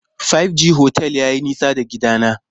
Five G otel yayi nisa da gidana.